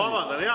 Ma vabandan!